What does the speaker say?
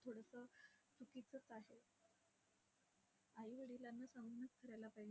थोडसं चुकीचंच आहे. आई वडिलांना सांगूनच करायला पाहिजे.